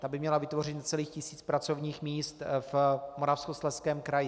Ta by měla vytvořit necelý tisíc pracovních míst v Moravskoslezském kraji.